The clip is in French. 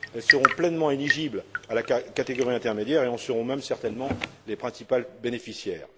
Elles seront pleinement éligibles à la catégorie intermédiaire et en seront même certainement les principales bénéficiaires.